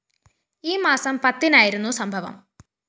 ഈ മാസം പത്തിനായിരുന്നു സംഭവം